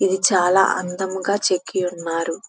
ఇది చాలా అందము గా చెక్కి ఉన్నారు.